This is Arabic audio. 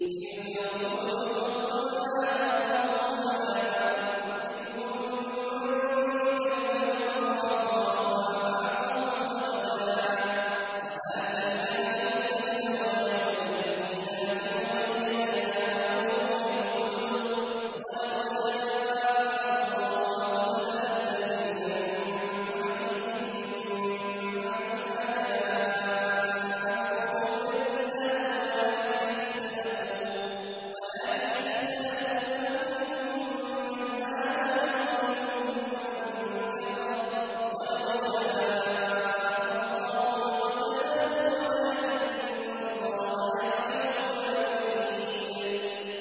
۞ تِلْكَ الرُّسُلُ فَضَّلْنَا بَعْضَهُمْ عَلَىٰ بَعْضٍ ۘ مِّنْهُم مَّن كَلَّمَ اللَّهُ ۖ وَرَفَعَ بَعْضَهُمْ دَرَجَاتٍ ۚ وَآتَيْنَا عِيسَى ابْنَ مَرْيَمَ الْبَيِّنَاتِ وَأَيَّدْنَاهُ بِرُوحِ الْقُدُسِ ۗ وَلَوْ شَاءَ اللَّهُ مَا اقْتَتَلَ الَّذِينَ مِن بَعْدِهِم مِّن بَعْدِ مَا جَاءَتْهُمُ الْبَيِّنَاتُ وَلَٰكِنِ اخْتَلَفُوا فَمِنْهُم مَّنْ آمَنَ وَمِنْهُم مَّن كَفَرَ ۚ وَلَوْ شَاءَ اللَّهُ مَا اقْتَتَلُوا وَلَٰكِنَّ اللَّهَ يَفْعَلُ مَا يُرِيدُ